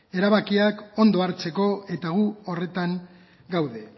erabakiak ondo hartzeko eta gu horretan gaude